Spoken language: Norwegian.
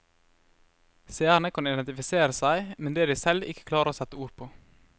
Seerne kan identifisere seg med det de selv ikke klarer å sette ord på.